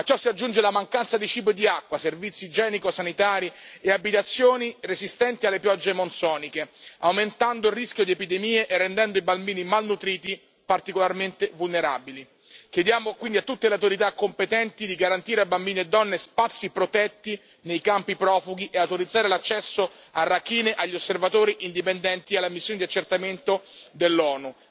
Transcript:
A ciò si aggiunge la mancanza di cibo e di acqua, servizi igienico sanitari e abitazioni resistenti alle piogge monsoniche, aumentando il rischio di epidemie e rendendo i bambini malnutriti particolarmente vulnerabili. Chiediamo quindi a tutte le autorità competenti di garantire a bambini e donne spazi protetti nei campi profughi e di autorizzare l'accesso a Rakhine agli osservatori indipendenti e alla missione di accertamento dell'ONU.